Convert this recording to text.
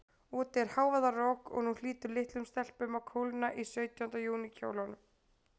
Úti er hávaðarok, og nú hlýtur litlum stelpum að kólna í sautjánda júní kjólunum.